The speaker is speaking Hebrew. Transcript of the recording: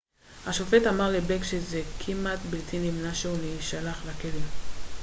השופט אמר לבלייק שזה כמעט בלתי נמנע שהוא יישלח לכלא